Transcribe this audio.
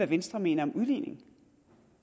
venstre mener om udligning